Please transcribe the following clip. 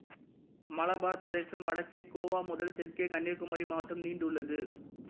மலபார் பிரதேசம் வடக்கே கோவா முதல் தெற்கே கன்னியாகுமரி மாவட்டம் நீண்டுள்ளது